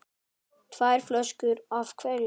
Tvær flöskur af hverju.